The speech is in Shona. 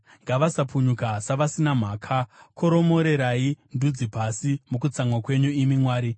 Ngavasapunyuka savasina mhaka; koromorerai ndudzi pasi mukutsamwa kwenyu imi Mwari.